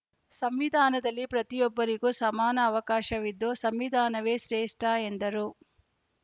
ಸಂವಿಧಾನದಲ್ಲಿ ಪ್ರತಿಯೊಬ್ಬರಿಗೂ ಸಮಾನ ಅವಕಾಶವಿದ್ದು ಸಂವಿಧಾನವೇ ಶ್ರೇಷ್ಠ ಎಂದರು